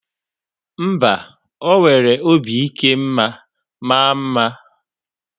mba, o nwere obi ike ma maa mma